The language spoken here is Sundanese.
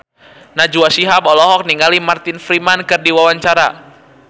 Najwa Shihab olohok ningali Martin Freeman keur diwawancara